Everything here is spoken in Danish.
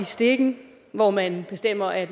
stikken hvor man bestemmer at